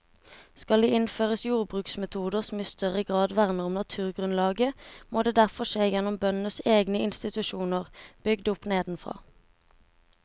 Skal det innføres jordbruksmetoder som i større grad verner om naturgrunnlaget, må det derfor skje gjennom bøndenes egne institusjoner bygd opp nedenfra.